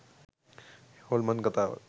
හොල්මන් කථාවක්.